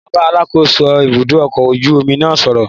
Mo máa bá Alákóso ibùdó ọkọ̀ ojú omi náà sọ̀rọ̀